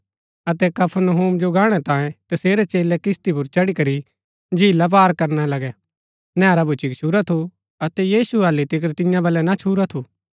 अतै कफरनहूम जो गाणै तांयें तसेरै चेलै किस्ती पुर चढ़ी करी झीला पार करना लगै नैहरा भूच्ची गच्छुरा थू अतै यीशु हालि तिकर तियां बलै ना छुरा थू